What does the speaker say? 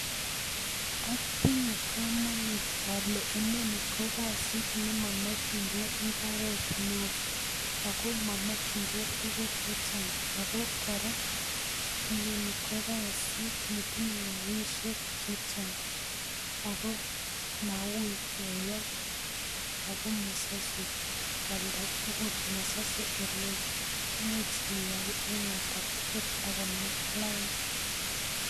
Otinye komonut olee inoni ko kasit nemomokying'e imbaret neoo, ak ko momokying'e tukuk chechang, ak ko kora inoni ko kasit netinye rabishek chechang, ak ko mawuii keyai ak ko mosose oldatukul, mosose elewoo, imuch iyai en oldatukul ak konam lain.